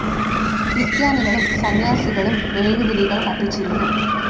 ക്രിസ്ത്യാനികളും സന്യാസിനികളും മെഴുകുതിരികൾ കത്തിച്ചിരുന്നു.